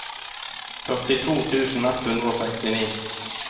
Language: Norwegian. førtito tusen ett hundre og sekstini